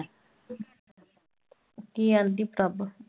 ਕੀ ਕਹਿੰਦੀ ਪ੍ਰਭ?